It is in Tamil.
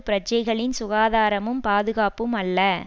பிரஜைகளின் சுகாதாரமும் பாதுகாப்பும் அல்ல